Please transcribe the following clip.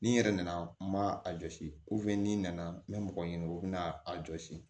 Ni n yɛrɛ nana n ma a jɔsi n nana n bɛ mɔgɔ ɲini o bɛna a jɔsi